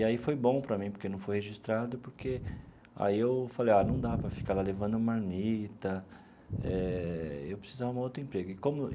E aí foi bom para mim, porque não fui registrado, porque aí eu falei ah, não dá para ficar lá levando marmita eh, eu preciso arrumar um outro emprego e como.